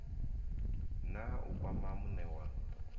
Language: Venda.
na u kwama muṋe wa